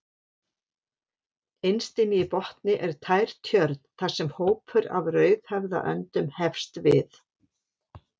Innst inni í botni er tær tjörn þar sem hópur af rauðhöfðaöndum hefst við.